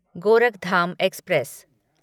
Gorakhdham express